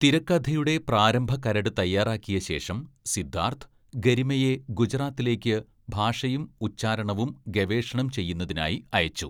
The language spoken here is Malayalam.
തിരക്കഥയുടെ പ്രാരംഭ കരട് തയ്യാറാക്കിയ ശേഷം, സിദ്ധാർത്ഥ്, ഗരിമയെ ഗുജറാത്തിലേക്ക് ഭാഷയും ഉച്ചാരണവും ഗവേഷണം ചെയ്യുന്നതിനായി അയച്ചു.